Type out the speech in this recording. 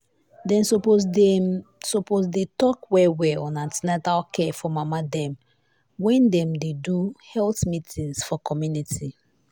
dem suppose dey dem suppose dey talk well well on an ten atal care for mama dem wen dem dey do health meetings for community.